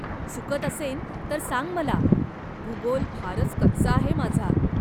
चुकत असेन तर सांग मला, भूगोल फारच कच्चा आहे माझा.